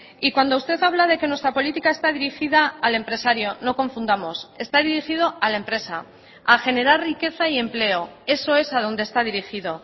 y cuando usted habla de que nuestra política está dirigida al empresario no confundamos está dirigido a la empresa a generar riqueza y empleo eso es a donde está dirigido